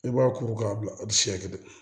I b'a kuru k'a bila a bɛ siɲɛ kelen